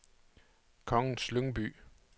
Kongens Lyngby